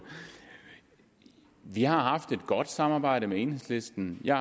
vi har haft et godt samarbejde med enhedslisten jeg